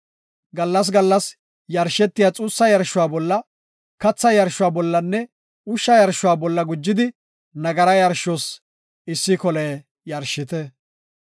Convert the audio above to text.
Gallas gallas yarshetiya xuussa yarshuwa bolla, katha yarshuwa bollanne ushsha yarshuwa bolla gujidi nagara yarshos issi kole yarshite.